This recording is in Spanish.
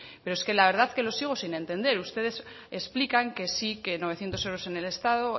pero la verdad es que lo sigo sin entender ustedes explican que sí que novecientos euros en el estado